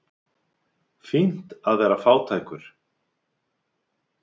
Fínt að vera fátækur.